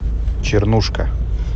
чернушка